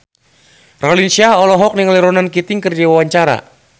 Raline Shah olohok ningali Ronan Keating keur diwawancara